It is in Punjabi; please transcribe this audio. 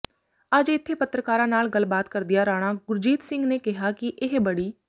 ਅੱਜ ਇਥੇ ਪੱਤਰਕਾਰਾਂ ਨਾਲ ਗੱਲਬਾਤ ਕਰਦਿਆਂ ਰਾਣਾ ਗੁਰਜੀਤ ਸਿੰਘ ਨੇ ਕਿਹਾ ਕਿ ਇਹ ਬੜੀ